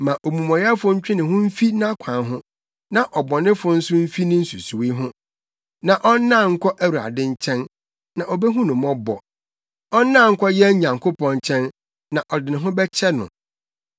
Ma omumɔyɛfo ntwe ne ho mfi nʼakwan ho na ɔbɔnefo nso mfi ne nsusuwii ho. Ma ɔnnan nkɔ Awurade nkyɛn, na obehu no mmɔbɔ, ɔnnan nkɔ yɛn Nyankopɔn nkyɛn, na ɔde ne ho bɛkyɛ no.